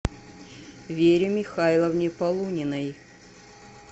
вере михайловне полуниной